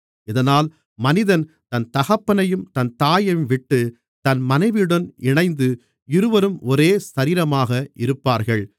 இதனால் மனிதன் தன் தகப்பனையும் தன் தாயையும்விட்டு தன் மனைவியுடன் இணைந்து இருவரும் ஒரே சரீரமாக இருப்பார்கள்